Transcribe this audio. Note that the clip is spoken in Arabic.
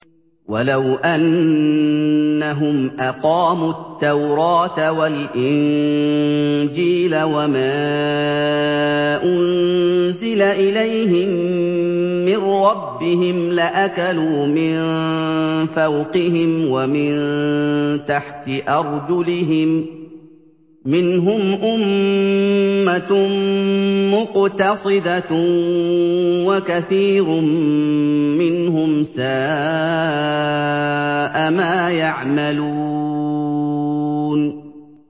وَلَوْ أَنَّهُمْ أَقَامُوا التَّوْرَاةَ وَالْإِنجِيلَ وَمَا أُنزِلَ إِلَيْهِم مِّن رَّبِّهِمْ لَأَكَلُوا مِن فَوْقِهِمْ وَمِن تَحْتِ أَرْجُلِهِم ۚ مِّنْهُمْ أُمَّةٌ مُّقْتَصِدَةٌ ۖ وَكَثِيرٌ مِّنْهُمْ سَاءَ مَا يَعْمَلُونَ